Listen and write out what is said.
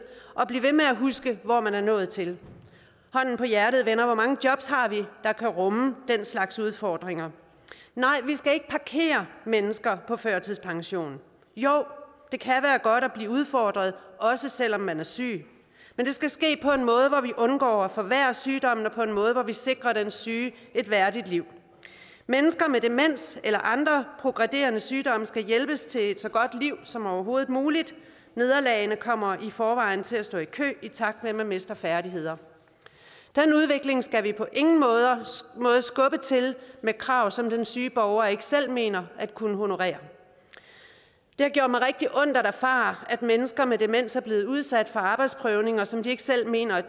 og blive ved med at huske hvor man er nået til hånden på hjertet venner hvor mange jobs har vi der kan rumme den slags udfordringer nej vi skal ikke parkere mennesker på førtidspension jo det kan være godt at blive udfordret også selv om man er syg men det skal ske på en måde så vi undgår at forværre sygdommen og på en måde så vi sikrer den syge et værdigt liv mennesker med demens eller andre progredierende sygdomme skal hjælpes til et så godt liv som overhovedet muligt nederlagene kommer i forvejen til at stå i kø i takt med at man mister færdigheder den udvikling skal vi på ingen måde skubbe til med krav som den syge borger ikke selv mener at kunne honorere det har gjort mig rigtig ondt at erfare at mennesker med demens er blevet udsat for arbejdsprøvninger som de ikke selv mener